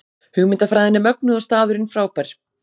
Hugmyndafræðin er mögnuð og staðurinn frábær